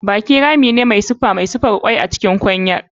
Baki rami ne mai siffa mai siffar kwai a cikin kwanyar.